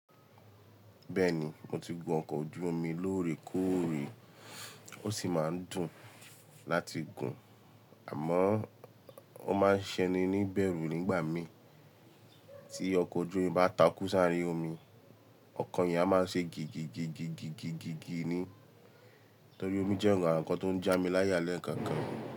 Bẹ́ẹ̀ni mo ti gun ọkọ̀ ojú omi lórè kóòrè, ó sì máa ń dùn láti gùn àmọ́ ó máa ń ṣeni níbẹ̀rú nígbà mí. Tí ọkọ̀ ojú omi bá takú s'áàrin omi, ọkọ̀ yẹn a máa ṣe gìgìgìgìgìgì ni. Nítorí omi jẹ́ nǹkan tó ń já mi láyálé kankan.